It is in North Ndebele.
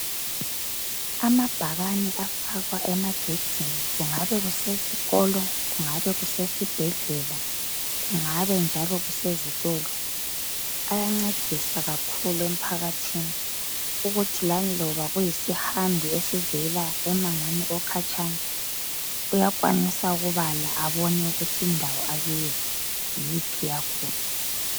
Amabhakane afakwa emagedini kungabe kusesikolo, kungabe kusesibhedlela kungabe njalo kusezitolo ayancedisa kakhulu emphakathini ukuthi laloba kuyisihambi esivela emangweni okhatshana uyakwanisa ukubala abone ukuthi indawo akiyo yiphi yakhona.